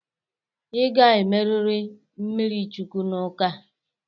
Ị ga-emeriri mmirichukwu n'ụka.